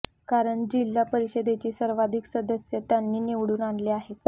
कारण जिल्हा परिषदेचे सर्वाधिक सदस्य त्यांनी निवडून आणले आहेत